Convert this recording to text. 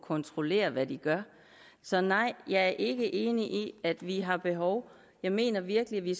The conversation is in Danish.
kontrollere hvad de gør så nej jeg ikke enig i at vi har behov jeg mener virkelig at vi